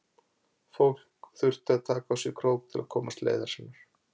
Fólk þurfti að taka á sig krók til að komast leiðar sinnar.